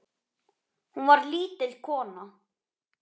Hún var lítil kona.